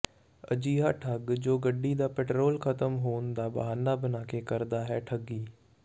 ਅਜਿਹਾ ਠੱਗ ਜੋ ਗੱਡੀ ਦਾ ਪੈਟਰੋਲ ਖ਼ਤਮ ਹੋਣ ਦਾ ਬਹਾਨਾ ਬਣਾ ਕੇ ਕਰਦਾ ਹੈ ਠੱਗੀ